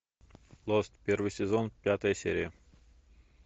лост первый сезон пятая серия